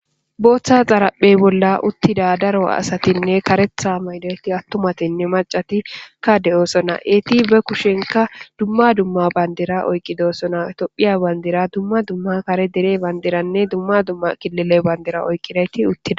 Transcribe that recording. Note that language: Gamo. Bootha xaraphe bolla uttida daro asatinne karetha maayida attimathinne maccati ka de'osona. Eti ba kushen dumma dumma bandira oyqidosona. Toophiya bandira dumma dumma kare dere bandiranne dumma dumma kilile bandira oykidayti uththida.